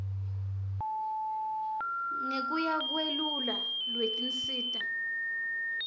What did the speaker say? ngekuya kweluhla lwetinsita